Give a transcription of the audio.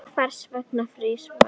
Hvers vegna frýs vatn